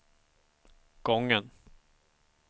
gången